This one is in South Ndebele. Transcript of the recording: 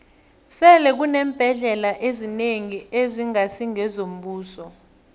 sele kuneembhendlela ezinengi ezingasi ngezombuso